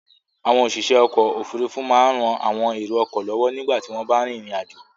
Àwọn òṣìṣẹ́ ọkọ̀-òfurufú máa ń ran àwọn èrò-ọkọ̀ lọ́wọ́ nígbà tí wọ́n bá rìnrìn-àjò.